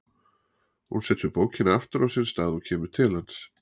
Hún setur bókina aftur á sinn stað og kemur til hans.